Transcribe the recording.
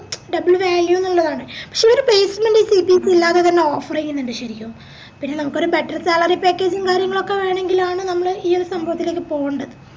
double value ന്ന് ഇള്ളതാണ് പക്ഷേ ഓര് placementCPC ഇല്ലാതെ തന്നെ offer ചെയ്യുന്നുണ്ട് ശരിക്കും പിന്നെ നമുക്കൊരു better salary package ഉം കാര്യങ്ങളൊക്കെ വേണെങ്കിലാണ് നമ്മള് ഈ സംഭവത്തിലേക് പോവേണ്ടത്